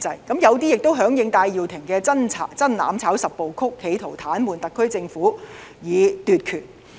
此外，有一些人亦響應戴耀廷的"真攬炒十步曲"，企圖癱瘓特區政府以奪權。